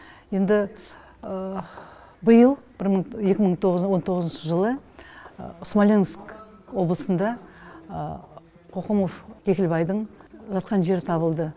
енді биыл екі мың он тоғызыншы жылы смоленск облысында қоқымов кекілбайдың жатқан жері табылды